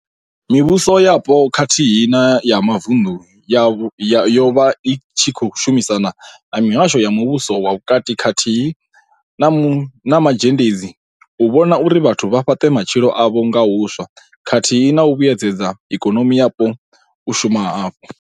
Mivhuso yapo khathihi na ya mavunḓu yo vha i tshi khou shumisana na mihasho ya muvhuso wa vhukati khathihi na mazhendedzi u vhona uri vhathu vha fhaṱe matshilo avho nga huswa khathihi na u vhuedzedza ikonomi yapo u shuma hafhu.